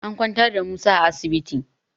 An kwantar da Musa a asibiti